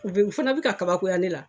U bɛɛ fana be ka kabakoya ne la.